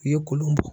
U ye kolon bɔ